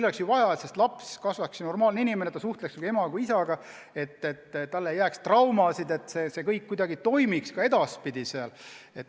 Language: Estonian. On ju vaja, et lapsest kasvaks normaalne inimene, et ta suhtleks nii ema kui isaga, et talle ei jääks traumasid, et kõik tema elus kuidagi toimiks ka edaspidi.